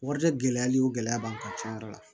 Wari tɛ gɛlɛyali o gɛlɛya b'an kan tiɲɛ yɛrɛ la